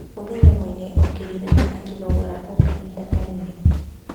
Mũthenya ũmwe nĩ okĩrire na akĩĩnogora o kahinda kanene.